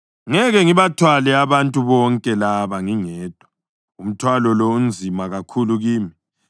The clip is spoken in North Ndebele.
Ngeke ngibathwale abantu bonke laba ngingedwa; umthwalo lo unzima kakhulu kimi.